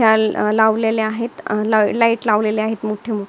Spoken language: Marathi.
ह्या लावलेल्या आहेत लाइट लावलेल्या आहेत मोठे मोठे.